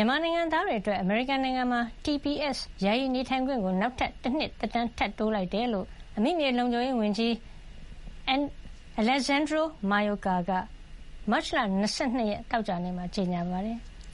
ြန်မာနိုင်ငံသားတွေ အတွက် အမေရိကန်နိုင်ငံမှာ (TPS) ယာယီနေထိုင်ခွင့် ကိုနောက်ထပ် တနှစ် သက်တမ်း ထပ်တိုးလိုက်တယ်လို့ အမိမြေလုံခြုံရေး ဝန်ကြီး Alejandro N. Mayorkas က မတ်လ ၂၂ ရက် သောကြာနေ့မှာ ကြေညာပါတယ်။